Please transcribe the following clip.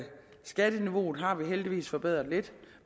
skatteniveauet har vi heldigvis forbedret lidt